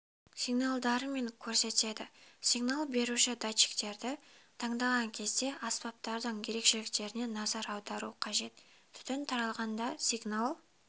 сигналдарымен көрсетеді сигнал беруші датчиктерді таңдаған кезде аспаптардың ерекшеліктеріне назар аудару қажет түтін таралғанда сигнал